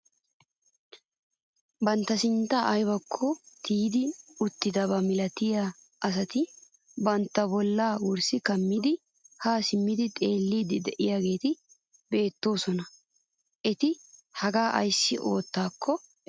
Bantta sinttan aybakko tiyetti uttidabaa milatiyaa asati bantta bolla wurssi kaamidi haa simmidi xeelliidi de'iyaageti beettoosona. eti hagaa ayssi oottaako erokko.